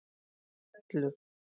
Hellu